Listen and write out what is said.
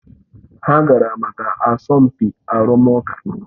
Ha gara maka asọmpi arụmụka